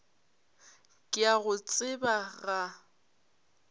ke a go tseba ga